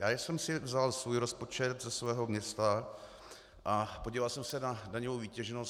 Já jsem si vzal svůj rozpočet ze svého města a podíval jsem se na daňovou výtěžnost.